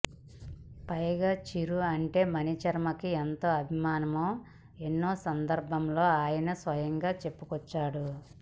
పైగా చిరు అంటే మణిశర్మకి ఎంత అభిమానమో ఎన్నో సందర్భాల్లో ఆయనే స్వయంగా చెప్పుకొచ్చాడు